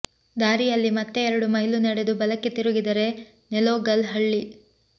ದಾರಿಯಲ್ಲಿ ಮತ್ತೆ ಎರಡು ಮೈಲು ನಡೆದು ಬಲಕ್ಕೆ ತಿರುಗಿದರೆ ನೆಲೋಗಲ್ ಹಳ್ಳಿ